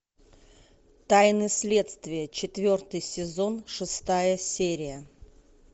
тайны следствия четвертый сезон шестая серия